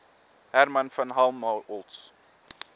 hermann von helmholtz